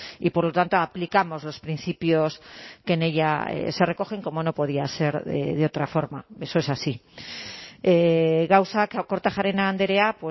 y por lo tanto aplicamos los principios que en ella se recogen como no podía ser de otra forma eso es así gauzak kortajarena andrea